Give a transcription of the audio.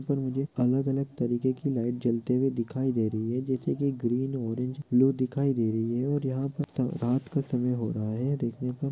पर मुझे अलग अलग तरीके की लाइट जलते हुए दिखाई दे रही है जेसे की ग्रीन ऑरेंग ब्लू दिखाई दे रही है ओर यह पर त रात का समय हो रहा है यह देखने पर--